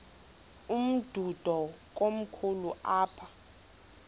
umdudo komkhulu apha